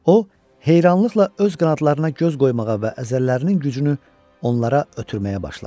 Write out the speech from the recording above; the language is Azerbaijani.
O heyrancılıqla öz qanadlarına göz qoymağa və əzələlərinin gücünü onlara ötürməyə başladı.